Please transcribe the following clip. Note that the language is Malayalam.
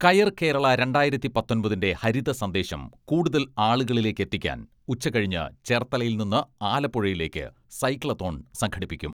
കയർ കേരള രണ്ടായിരത്തി പത്തൊമ്പതിന്റെ ഹരിതസന്ദേശം കൂടുതൽ ആളുകളിലേക്കെത്തിക്കാൻ ഉച്ച കഴിഞ്ഞ് ചേർത്തലയിൽ നിന്ന് ആലപ്പുഴയിലേക്ക് സൈക്ലത്തോൺ സംഘടിപ്പിക്കും.